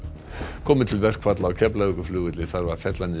komi til verkfalla á Keflavíkurflugvelli þarf að fella niður